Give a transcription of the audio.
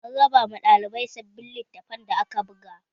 An raba ma ɗalibai sabbin littafan da aka buga